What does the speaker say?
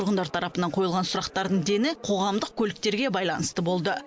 тұрғындар тарапынан қойылған сұрақтардың дені қоғамдық көліктерге байланысты болды